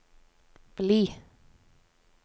bli